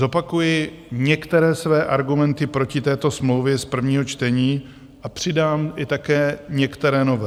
Zopakuji některé své argumenty proti této smlouvě z prvního čtení a přidám i také některé nové.